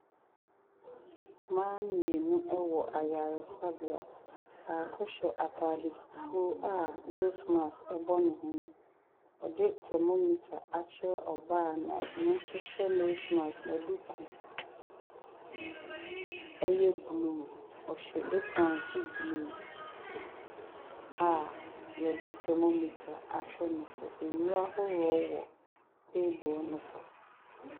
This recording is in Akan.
Mmaa mmienu ɛwɔ ayaresabea. Baako hyɛ ataare fufuw a nos maks ɛbɔ ne nwene ɔdi tɛmomita akyerɛ ɔbaa ɔno nso hyɛ nos maks na dukuu ɛyɛ blu. Ɔhyɛ eprɔn so blu a yɛde tɛmomita ahwɛ ne so. Nnuro ahorow wɔ teebol no so.